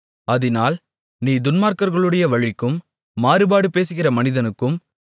அதினால் நீ துன்மார்க்கர்களுடைய வழிக்கும் மாறுபாடு பேசுகிற மனிதனுக்கும்